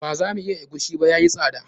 Ba za mu iya egusi ba, yayi tsada.